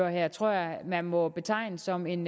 her tror jeg man må betegne som en